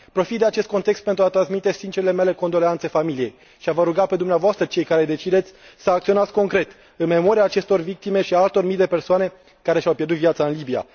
Profit de acest context pentru a transmite sincerele mele condoleanțe familiei și a vă ruga pe dumneavoastră, cei care decideți, să acționați concret, în memoria acestor victime și a altor mii de persoane care și au pierdut viața în Libia.